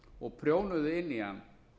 og prjónuðu inn í hann